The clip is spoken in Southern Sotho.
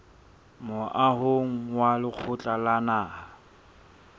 moahong wa lekgotla la naha